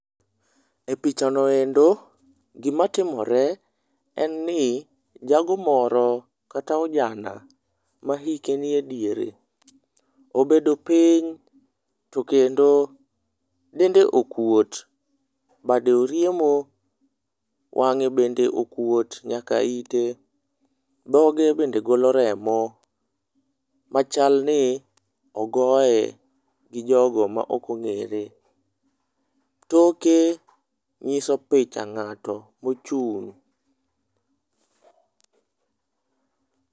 E picha noendo gima timore en ni jago moro kata ojana ma ike nie diere obedo piny to kendo dende okuot bade oriemo wang'e bende okuot nyaka ite, dhoge bende golo remo. Machal ni ogoye gi jogo ma ok ong'ere . Toke nyiso picha ng'ato mochung'